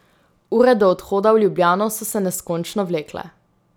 Ure do odhoda v Ljubljano so se neskončno vlekle.